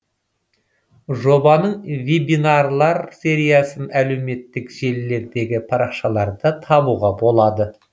жобаның вебинарлар сериясын әлеуметтік желілердегі парақшаларда табуға болады